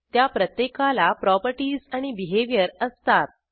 त्या प्रत्येकाला प्रॉपर्टीज आणि बिहेवियर असतात